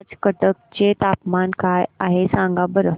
आज कटक चे तापमान काय आहे सांगा बरं